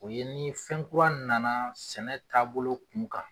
O ye ni fɛn kura nana sɛnɛ tabolo kun kan.